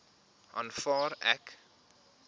aanvaar ek